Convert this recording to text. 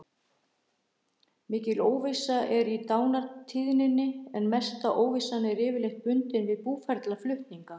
Minnsta óvissan er í dánartíðninni en mesta óvissan er yfirleitt bundin við búferlaflutninga.